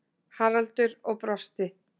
Haraldur og brosti.